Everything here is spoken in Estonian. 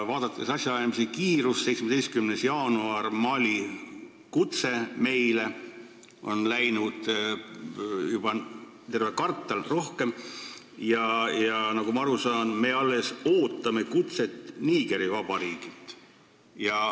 Vaadakem asjaajamise kiirust: 17. jaanuaril laekus Mali kutse meile, nüüd on läinud terve kvartal ja rohkemgi, ent nagu ma aru saan, me alles ootame kutset Nigeri Vabariigilt.